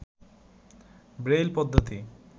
Braille পদ্ধতি